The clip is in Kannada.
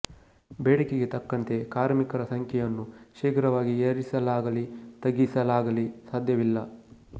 ಬೇಡಿಕೆಗೆ ತಕ್ಕಂತೆ ಕಾರ್ಮಿಕರ ಸಂಖ್ಯೆಯನ್ನು ಶೀಘ್ರವಾಗಿ ಏರಿಸಲಾಗಲಿ ತಗ್ಗಿಸಲಾಗಲಿ ಸಾಧ್ಯವಿಲ್ಲ